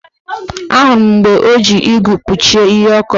Ahụrụ m mgbe o ji igu kpuchie ihe ọ kọrọ